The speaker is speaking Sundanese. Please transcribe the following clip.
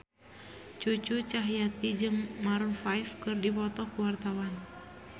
Cucu Cahyati jeung Maroon 5 keur dipoto ku wartawan